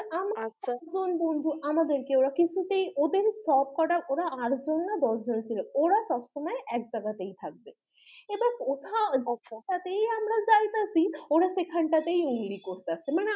আমার কজন বন্ধু আমাদের কে ওরা কিছুতেই ওদের সবকটা ওদের আট জন না দশ জন ছিল ওরা সবসময় এক জায়গা তাই থাকবে আমরা যেখানটাতে যাইতাছি ওরা সেখানটাতেই উংলি করতাছে